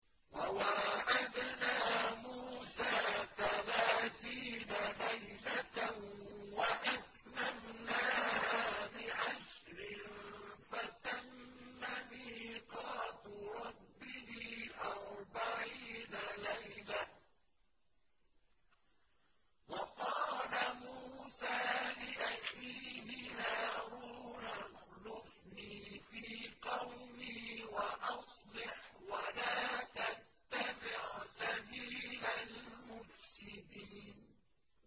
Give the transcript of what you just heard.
۞ وَوَاعَدْنَا مُوسَىٰ ثَلَاثِينَ لَيْلَةً وَأَتْمَمْنَاهَا بِعَشْرٍ فَتَمَّ مِيقَاتُ رَبِّهِ أَرْبَعِينَ لَيْلَةً ۚ وَقَالَ مُوسَىٰ لِأَخِيهِ هَارُونَ اخْلُفْنِي فِي قَوْمِي وَأَصْلِحْ وَلَا تَتَّبِعْ سَبِيلَ الْمُفْسِدِينَ